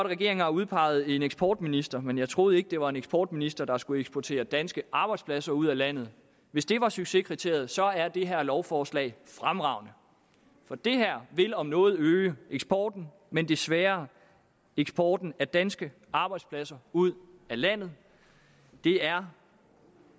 regeringen har udpeget en eksportminister men jeg troede ikke det var en eksportminister der skulle eksportere danske arbejdspladser ud af landet hvis det var succeskriteriet så er det her lovforslag fremragende for det her vil om noget øge eksporten men desværre eksporten af danske arbejdspladser ud af landet det er